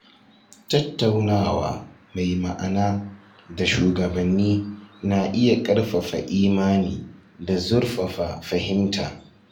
Tattaunawa mai ma’ana da shugabanni na iya ƙarfafa imani da zurfafa fahimta.